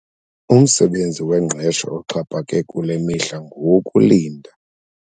Umsebenzi wengqesho oxhaphake kule mihla ngowokulinda.